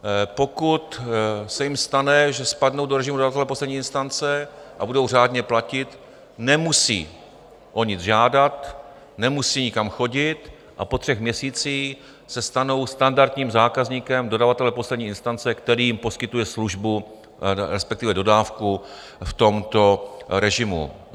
Pokud se jim stane, že spadnou do režimu dodavatele poslední instance a budou řádně platit, nemusí o nic žádat, nemusí nikam chodit a po třech měsících se stanou standardním zákazníkem dodavatele poslední instance, který jim poskytuje službu, respektive dodávku v tomto režimu.